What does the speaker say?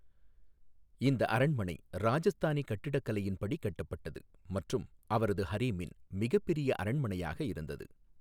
இந்த அரண்மனை ராஜஸ்தானி கட்டிடக்கலையின் படி கட்டப்பட்டது மற்றும் அவரது ஹரெமின் மிகப்பெரிய அரண்மனையாக இருந்தது.